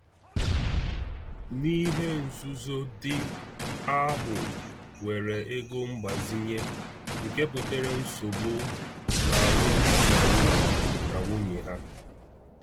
N’ihe nzuzo, di ahụ weere ego mgbazinye, nke butere nsogbu n’alụmdi na nwunye na nwunye ha.